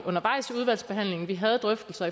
udvalgsbehandlingen vi havde drøftelser